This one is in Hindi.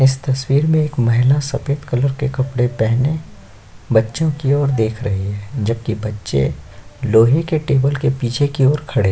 इस तस्वीर में एक महिला सफ़ेद कलर की कपडे पहने बच्चो की ओर देख रही है जबकि बच्चे लोहे की टेबल की पीछे की ओर खड़े--